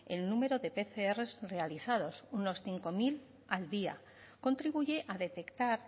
el número de pcr realizados unos cinco mil al día contribuye a detectar